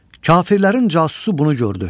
Kafirlərin casusu bunu gördü.